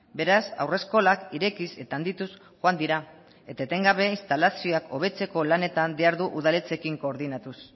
beraz haurreskolak irekiz eta handituz joan dira eta etengabe instalazioak hobetzeko lanetan behar du udaletxeekin koordinatuz